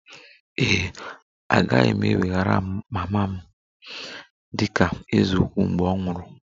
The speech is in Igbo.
Ee e, agaghị m eweghara mama m dị ka eze ukwu mgbe ọ nwụrụ